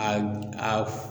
A a f